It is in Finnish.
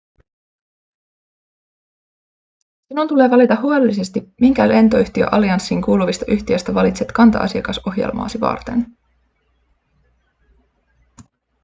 sinun tulee valita huolellisesti minkä lentoyhtiöallianssiin kuuluvista yhtiöistä valitset kanta-‎asiakasohjelmaasi varten.‎